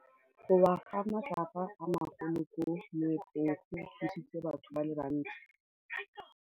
Go wa ga matlapa a magolo ko moepong go tshositse batho ba le bantsi.